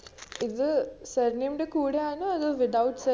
ഇത് surname ന്റെ കൂടെയാന്നോ അതോ without surname